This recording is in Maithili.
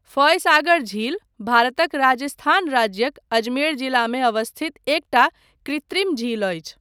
फॉय सागर झील भारतक राजस्थान राज्यक अजमेर जिलामे अवस्थित एकटा कृत्रिम झील अछि।